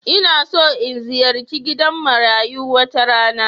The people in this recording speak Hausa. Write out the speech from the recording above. Ina so in ziyarci gidan marayu wata rana.